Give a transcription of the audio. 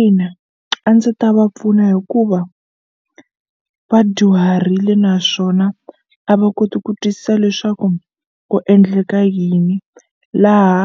Ina a ndzi ta va pfuna hikuva va dyuharile naswona a va koti ku twisisa leswaku ku endleka yini laha